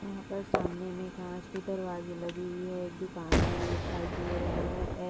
यहाँ पर सामने में कांच के दरवाजे लगे हुए है एक दुकान दिखाई दे रहा हैअ--